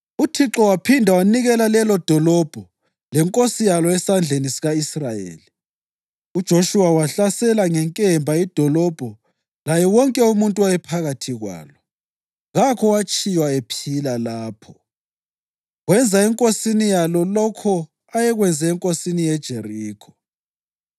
UThixo waphinda wanikela lelodolobho lenkosi yalo esandleni sika-Israyeli. UJoshuwa wahlasela ngenkemba idolobho laye wonke umuntu owayephakathi kwalo. Kakho owatshiywa ephila lapho. Wenza enkosini yalo lokho ayekwenze enkosini yeJerikho.